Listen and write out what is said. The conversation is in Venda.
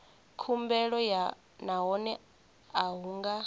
khumbelo nahone a hu nga